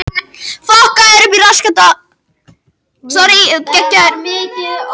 Það getur svo haft áhrif á stærð flóðbylgjunnar hvernig aðstæður við ströndina eru.